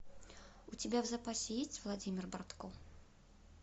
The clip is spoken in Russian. у тебя в запасе есть владимир бортко